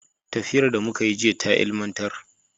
Tafiyar da muka yi jiya ta ilimantar.